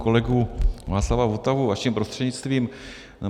kolegu Václava Votavu vaším prostřednictvím.